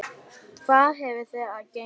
Hvað hefur það að geyma?